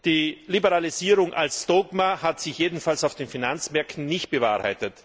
Die Liberalisierung als Dogma hat sich jedenfalls auf den Finanzmärkten nicht bewährt.